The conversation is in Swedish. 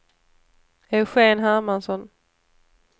Eugen Hermansson